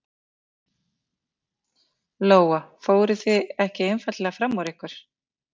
Lóa: Fóruð þið ekki einfaldlega fram úr ykkur?